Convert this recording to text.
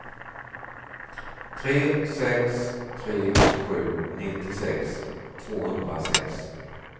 tre sex tre sju nittiosex tvåhundrasex